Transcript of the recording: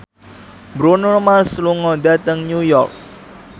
Bruno Mars lunga dhateng New York